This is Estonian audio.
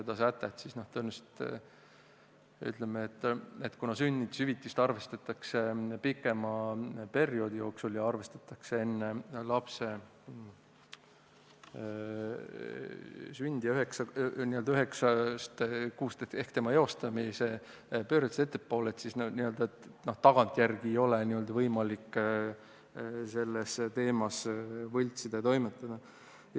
Noh, tõenäoliselt on nii, et kuna sünnitushüvitist arvestatakse pikema perioodi sissetuleku järgi enne lapse sündi, võttes aluseks tärmini üheksa kuud enne lapse eostamist, siis n-ö tagantjärgi ei ole võimalik neid andmeid kohendada.